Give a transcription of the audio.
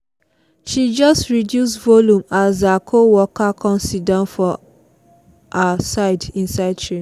she just reduce volume as her coworker come sit down for for her side inside the train